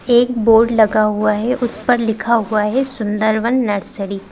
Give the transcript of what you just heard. एक बोर्ड लगा हुआ है उस पर लिखा हुआ है सुंदरवन नर्सरी ।